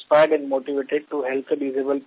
ছাত্রদের কাছ থেকে খুব উৎসাহজনক সাড়া পেয়েছি